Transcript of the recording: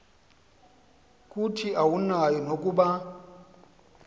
kuthi awunayo nokuba